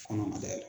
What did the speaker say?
Kɔnɔ ma dayɛlɛ